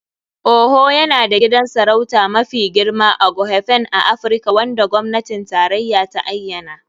Owo yana da gidan sarauta mafi girma (Aghofen) a Afirka wanda gwamnatin tarayya ta ayyana.